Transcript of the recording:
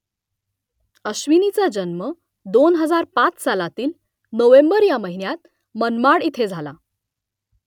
अश्विनीचा जन्म दोन हजार पाच सालातील नोव्हेंबर ह्या महिन्यात मनमाड इथे झाला